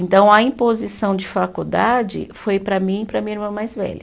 Então, a imposição de faculdade foi para mim e para a minha irmã mais velha.